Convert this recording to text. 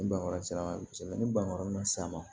Ni bange sera kosɛbɛ ni bangeyɔrɔ ma sisan ma